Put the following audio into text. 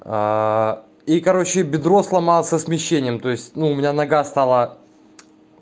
и короче бедро сломался смещением то есть ну у меня нога стала